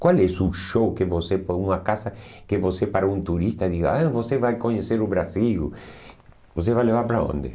Qual és o show que você, por uma casa, que você, para um turista, diga, ah você vai conhecer o Brasil, você vai levar para onde?